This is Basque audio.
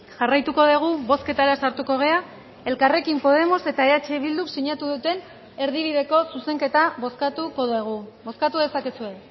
jarraituko dugu bozketara sartuko gara elkarrekin podemos eta eh bilduk sinatu duten erdibideko zuzenketa bozkatuko dugu bozkatu dezakezue